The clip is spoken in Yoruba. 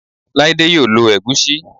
Laide yoo lo Egusi